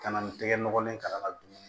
Ka na ni tɛgɛ nɔgɔlen ka na dumuni